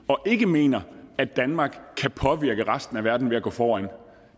og ikke mener at danmark kan påvirke resten af verden ved at gå foran